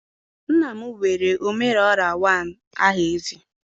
nna m were omere orra one aha eze.